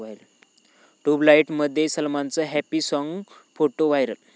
ट्युबलाइट'मध्ये सलमानचं happy song, photo viral